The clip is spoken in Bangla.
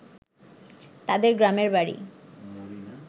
তাদের গ্রামের বাড়ি